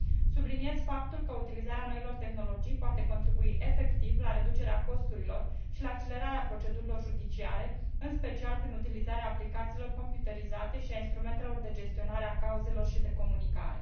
Subliniez faptul că utilizarea noilor tehnologii poate contribui efectiv la reducerea costurilor și la accelerarea procedurilor judiciare, în special prin utilizarea aplicațiilor computerizate și a instrumentelor de gestionare a cauzelor și de comunicare.